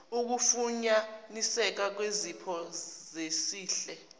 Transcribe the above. ukufunyaniseka kwezipho zesihle